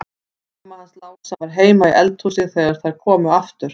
Mamma hans Lása var heima í eldhúsi þegar þær komu aftur.